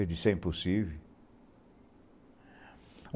Ele disse, é impossível.